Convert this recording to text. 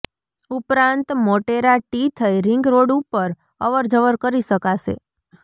ઉપરાંત મોટેરા ટી થઈ ring road ઉપર અવરજર કરી શકાશે